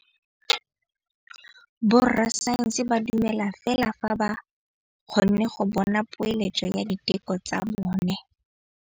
Borra saense ba dumela fela fa ba kgonne go bona poeletsô ya diteko tsa bone.